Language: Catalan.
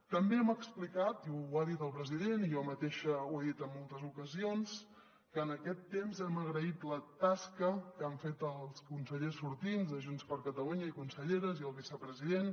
també hem explicat i ho ha dit el president i jo mateixa ho he dit en moltes ocasions que en aquest temps hem agraït la tasca que han fet els consellers sortints de junts per catalunya i conselleres i el vicepresident